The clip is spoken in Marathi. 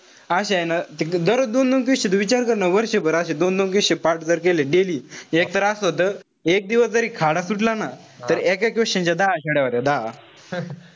अशे हाये ना दररोज दोन-दोन question तू विचार कर ना. वर्षभर अशे दोन-दोन question जर पाठ केले daily. एकतर असं होत. एक दिवस जरी खाडा सुटला ना. तर एक-एक question चे दहा छड्या होत्या दहा.